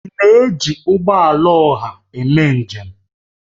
Ị na-eji ụgbọ ọha eme njem?